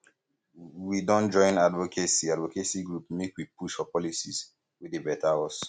we don join advocacy advocacy group make we push for policies wey dey beta us